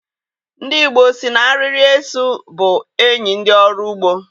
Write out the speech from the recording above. Ndị Igbo sị na arịrị eso bụ enyi ndị ọrụ ugbo.